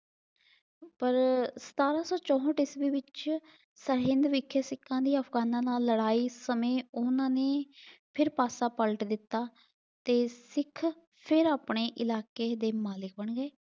ਪਰ ਸਤਾਰ੍ਹਾਂ ਸੌ ਚੋਹਠ ਈਸਵੀ ਵਿੱਚ ਸਰਹਿੰਦ ਵਿੱਚ ਸਿੱਖਾਂ ਦੀ ਅਫ਼ਗ਼ਾਨਾ ਨਾਲ ਲੜਾਈ ਸਮੇਂ ਉਹਨਾਂ ਨੇ ਫਿਰ ਪਾਸਾ ਪਲਟ ਦਿੱਤਾ ਤੇ ਸਿੱਖ ਫਿਰ ਆਪਣੇ ਇਲਾਕੇ ਦੇ ਮਾਲਕ ਬਣ ਗਏ।